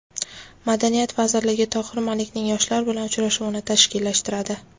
Madaniyat vazirligi Tohir Malikning yoshlar bilan uchrashuvini tashkillashtiradi.